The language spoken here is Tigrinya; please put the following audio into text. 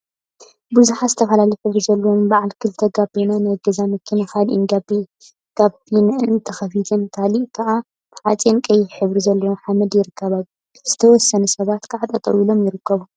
ቡዙሓት ዝተፈላለየ ሕብሪ ዘለዎን በዓለ ክልተ ጋቤና ናይ ገዛ መኪና ገሊአን ጋቤንአን ተከፊተን ገሊአን ከዓ ተዓፅየን አብ ቀይሕ ሕብሪ ዘለዎ ሓመድ ይርከባ፡፡ ዝተወሰኑ ሰባት ከዓ ጠጠው ኢሎም ይርከቡ፡፡